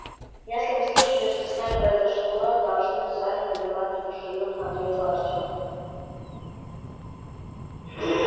если вы слышали что с нами произошло должны сами понимать недружелюбно ответил артём